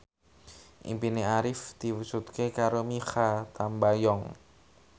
impine Arif diwujudke karo Mikha Tambayong